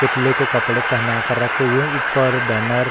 पुतले को कपड़े पहना कर रखे हुए ऊपर बैनर --